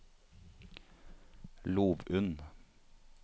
Lovund